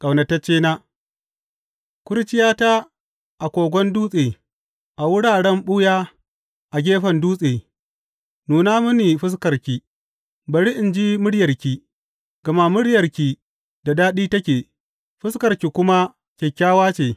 Ƙaunataccena Kurciyata a kogon dutse, a wuraren ɓuya a gefen dutse, nuna mini fuskarki, bari in ji muryarki; gama muryarki da daɗi take, fuskarki kuma kyakkyawa ce.